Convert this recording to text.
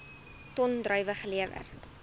ton druiwe gelewer